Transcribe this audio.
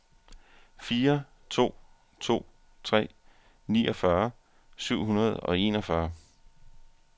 fire to to tre niogfyrre syv hundrede og enogfyrre